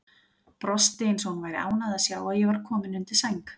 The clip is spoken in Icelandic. Brosti eins og hún væri ánægð að sjá að ég var kominn undir sæng.